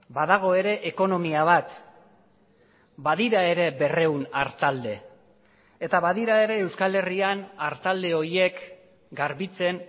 badago ere ekonomia bat badira ere berrehun artalde eta badira ere euskal herrian artalde horiek garbitzen